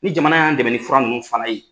Ni jamana y'a dɛmɛ ni fura ninnu fana ye.